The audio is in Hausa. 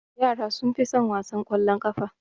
Yara sunfi sun wasan kwallon ƙafa.